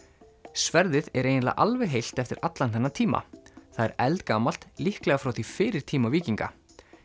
sverðið er eiginlega alveg heilt eftir allan þennan tíma það er eldgamalt líklega frá því fyrir tíma víkinga